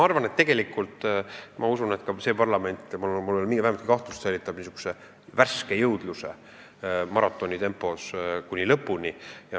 Tegelikult ma usun, et ka see parlament – mul pole vähemaltki kahtlust – säilitab maratoni joostes värskuse lõpuni.